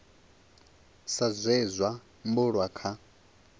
sa zwe zwa bulwa kha